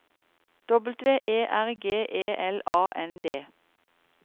W E R G E L A N D